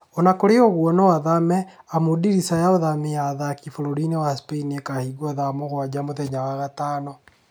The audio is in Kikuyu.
Onakũrĩ ũguo no athame amũ dirisa ya ũthamia wa athaki bũrũri-inĩ wa Spain ĩkahingwo thaa mũgwanja mũthenya wa gatano